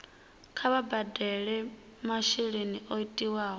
kha vha badele masheleni o tiwaho